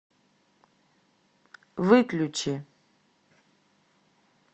выключи